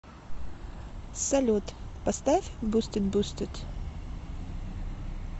салют поставь бустед бустед